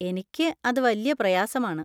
എനിക്ക് അത് വല്യ പ്രയാസമാണ്.